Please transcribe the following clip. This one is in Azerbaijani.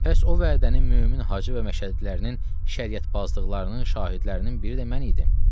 Bəs o vədənin mömin Hacı və Məşəddilərinin şəriyətbazlıqlarının şahidlərinin biri də mən idim.